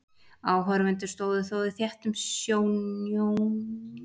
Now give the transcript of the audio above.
Áhorfendur stóðu þó í þéttum snjónum uppí stúku og stóðu þétt saman.